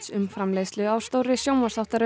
um framleiðslu á stórri sjónvarpsþáttaröð